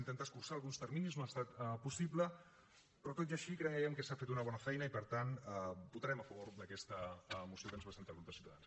intentar escurçar alguns terminis no ha estat possible però tot i així creiem que s’ha fet una bona feina i per tant votarem a favor d’aquesta moció que ens presenta el grup de ciutadans